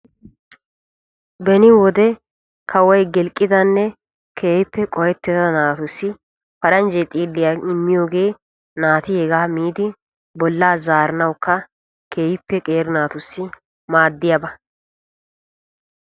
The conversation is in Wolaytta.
Beni wode kawoy gilqqiddanne qohettidda xiilliya immiyooge naati miiddi bollaa zaarana mala maaddiyagaa.